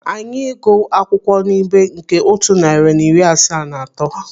Anyị ịgụ akwụkwọ n'ibé nke otu narị na iri asaa na atọ.